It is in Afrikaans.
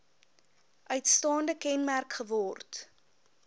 uitstaande kenmerk geword